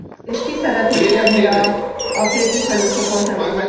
És ki szeretné kérni a képviselőcsoport nevében?